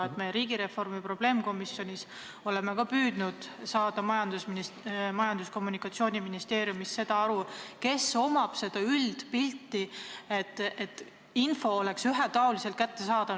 Meie oleme riigireformi probleemkomisjonis ka püüdnud saada Majandus- ja Kommunikatsiooniministeeriumist teada, kellel on olemas see üldpilt, kas info on ühetaoliselt kättesaadav.